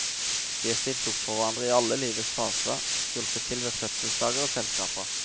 De har stilt opp for hverandre i alle livets faser, hjulpet til ved fødselsdager og selskaper.